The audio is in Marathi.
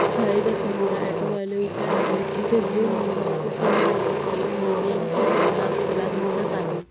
शाळेच्या समोर ऑटोवाले उभे आहे तितच दोन मूल इथे फोन मध्ये काही तरी गेम खेळताना आपल्याला दिसत आहे.